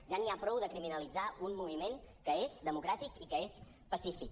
ja n’hi ha prou de criminalitzar un moviment que és democràtic i que és pacífic